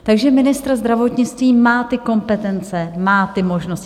Takže ministr zdravotnictví má ty kompetence, má ty možnosti.